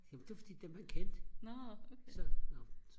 jamen det var fordi den var ik kendt så nå så